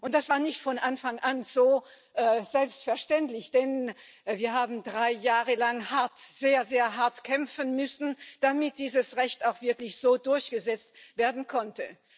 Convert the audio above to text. Das war nicht von Anfang an so selbstverständlich, denn wir haben drei Jahre lang hart, sehr, sehr hart kämpfen müssen, damit dieses Recht auch wirklich so durchgesetzt werden konnte.